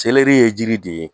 Seleri ye jiri de ye